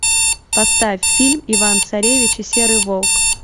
поставь фильм иван царевич и серый волк